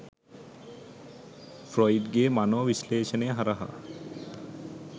Freud ගේ මනෝ විශ්ලේෂණය හරහා.